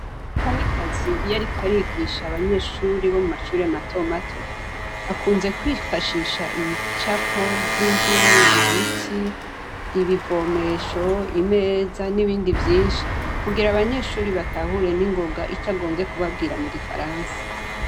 kamikazi iyo ariko arigisha abanyeshure bo mashure mato mato akunze kwifashisha ibicapo nk'ivyinzu, ibiti, ibivomesho, imeza ,nibindi vyinshi kugira abanyeshure batahure ningoga atarinze kubabwira mu gifaransa.